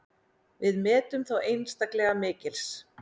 Við metum þá einstaklega mikils.